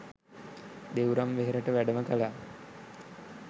දෙව්රම් වෙහෙරට වැඩම කළා